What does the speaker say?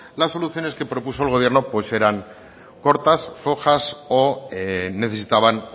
la solución que propuso el gobierno pues eran cortas flojas o necesitaban